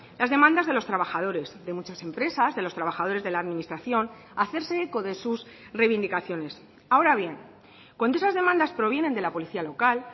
las demandas de los trabajadores de muchas empresas de los trabajadores de la administración a hacerse eco de sus reivindicaciones ahora bien cuando esas demandas provienen de la policía local